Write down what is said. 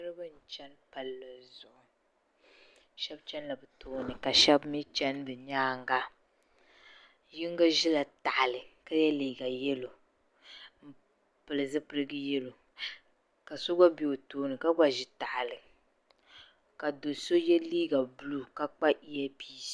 niriba n-chani palli zuɣu shɛba chanila bɛ tooni ka shɛba mi chani bɛ nyaaŋga yiŋga ʒila tahali ka ye liiga yɛlo m-pili zipil' yɛlo ka so gba be o tooni ka gba ʒi tahali ka do' so ye liiga buluu ka kpa yiyapiisi